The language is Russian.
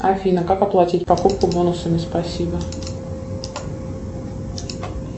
афина как оплатить покупку бонусами спасибо